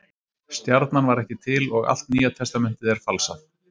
Stjarnan var ekki til og allt Nýja testamentið er falsað.